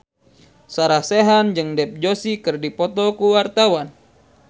Sarah Sechan jeung Dev Joshi keur dipoto ku wartawan